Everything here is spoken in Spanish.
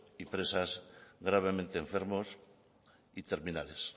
y presas gravemente enfermos y terminales